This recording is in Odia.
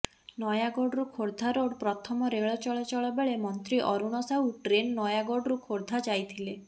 ନୟାଗଡ଼ରୁ ଖୋର୍ଦ୍ଧାରୋଡ୍ ପ୍ରଥମ ରେଳ ଚଳାଚଳ ବେଳେ ମନ୍ତ୍ରୀ ଅରୁଣ ସାହୁ ଟ୍ରେନ୍ ନୟାଗଡ଼ରୁ ଖୋର୍ଦ୍ଧା ଯାଇଥିଲେ